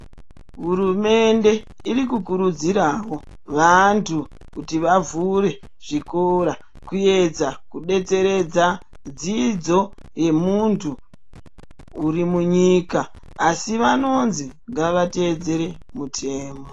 Hurumende iri kukurudzirawo vantu kuti vavhure zvikora kuedza kudetseredza dzidzo yemuntu uri munyika asi vanonzi ngavateedzere mitemo.